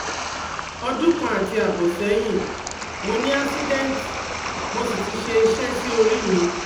Odunkan ati abo sehin, mo ni accidenti mo si ti se ise si ori mi